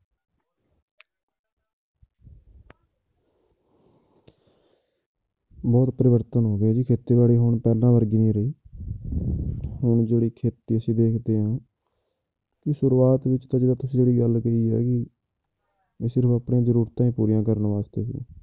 ਬਹੁਤ ਪਰਿਵਰਤਨ ਹੋ ਗਿਆ ਜੀ, ਖੇਤੀਬਾੜੀ ਹੁਣ ਪਹਿਲਾਂ ਵਰਗੀ ਨਹੀਂ ਰਹੀ ਹੁਣ ਜਿਹੜੀ ਖੇਤੀ ਅਸੀਂ ਦੇਖਦੇ ਹਾਂ ਤੇ ਸ਼ੁਰੂਆਤ ਵਿੱਚ ਜਿਹੜੀ ਆਹ ਤੁਸੀਂ ਜਿਹੜੀ ਗੱਲ ਕਹੀ ਹੈ ਕਿ ਵੀ ਸਿਰਫ਼ ਆਪਣੀਆਂ ਜ਼ਰੂਰਤਾਂ ਪੂਰੀਆਂ ਕਰਨ ਵਾਸਤੇ ਸੀ